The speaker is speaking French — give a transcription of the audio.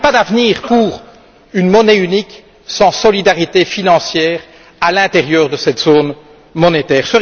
Il n'y a pas d'avenir pour une monnaie unique sans solidarité financière à l'intérieur de cette zone monétaire.